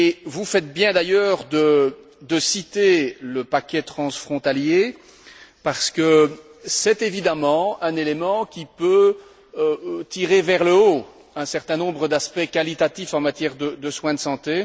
Vous faites bien, d'ailleurs, de citer le paquet transfrontalier, parce que c'est un élément qui peut tirer vers le haut un certain nombre d'aspects qualitatifs en matière de soins de santé.